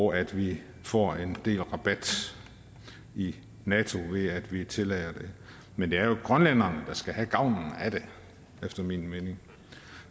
og at vi får en del rabat i nato ved at vi tillader det men det er jo grønlænderne der skal have gavnen af det efter min mening